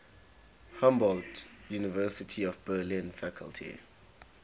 humboldt university of berlin faculty